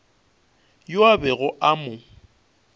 yo a bego a mo